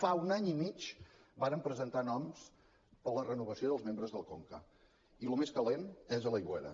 fa un any i mig vàrem presentar noms per a la renovació dels membres del conca i el més calent és a l’aigüera